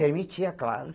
Permitia, claro.